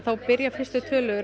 fyrstu tölum